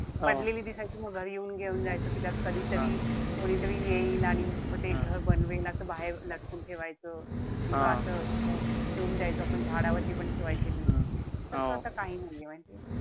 पडलेली दिसायची म घरी येऊन जायचो कि त्यात कधी तरी कोणीतरी येईल आणि म ते घर बनवेल असं बाहेर लटकून ठेवायचं. किंवा असं ठेऊन द्यायचो आपण. झाडावरती पण ठेवायचे मी. तस आता काही नाहीये, माहितीये?